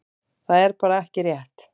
Það er bara ekki rétt.